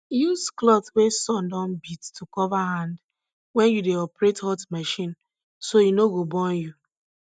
use cloth wey sun don beat to cover hand wen you dey operate hot machine so say e no go burn you